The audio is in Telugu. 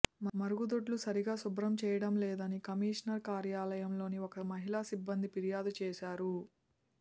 మరుగుదొడ్లు సరిగా శుభ్రం చేయడంలేదని కమిషనర్ కార్యాలయంలోని ఒక మహిళ సిబ్బంది ఫిర్యాదు చేశారు